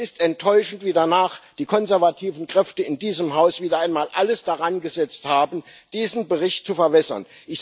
Es ist enttäuschend, wie danach die konservativen Kräfte in diesem Haus wieder einmal alles darangesetzt haben, diesen Bericht zu verwässern.